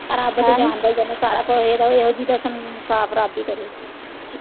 ਰੱਬ ਤਾਂ ਜਾਣਦਾ ਹੀ ਆ ਨਾ ਸਭ ਕੁੱਝ ਇਹਦਾ ਇਹੋ ਜਿਹੀ ਦਾ ਇਨਸਾਫ ਰੱਬ ਹੀ ਕਰੇ।